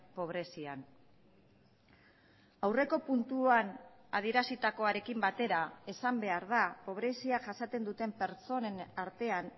pobrezian aurreko puntuan adierazitakoarekin batera esan behar da pobrezia jasaten duten pertsonen artean